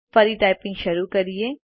ફરી ટાઈપીંગ શરૂ કરીએ